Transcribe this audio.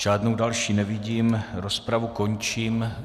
Žádnou další nevidím, rozpravu končím.